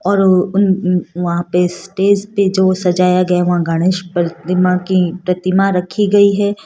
और उ उन उं वहां पे स्टेज पे जो सजाया गया वहां गणेश प्रतिमा की प्रतिमा रखी गई है।